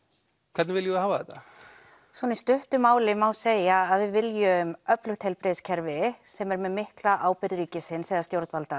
hvernig viljum við hafa þetta svona í stuttu máli má segja að við viljum öflugt heilbrigðiskerfi sem er með mikla ábyrgð ríkisins eða stjórnvalda